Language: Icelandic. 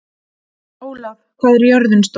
Ólaf, hvað er jörðin stór?